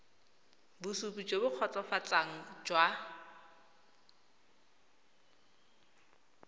bosupi jo bo kgotsofatsang jwa